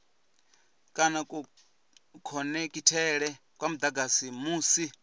kana kukhonekhithele kwa mudagasi musi